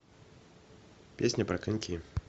песня про коньки